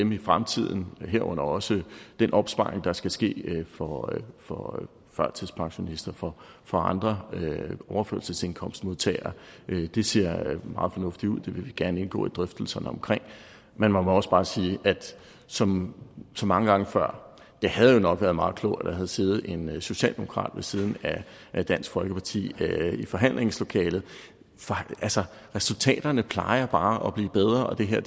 dem i fremtiden herunder også den opsparing der skal ske for for førtidspensionister og for andre overførselsindkomstmodtagere det ser meget fornuftigt ud og det vil vi gerne indgå i drøftelserne omkring men man må også bare sige at som mange gange før havde det nok været meget klogt at der havde siddet en socialdemokrat ved siden af dansk folkeparti i forhandlingslokalet resultaterne plejer bare at blive bedre og det her